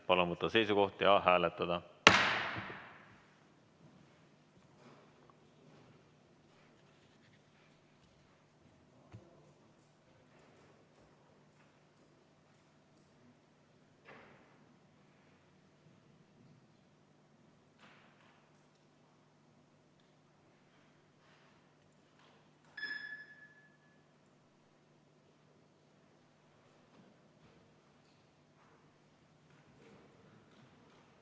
Palun võtta seisukoht ja hääletada!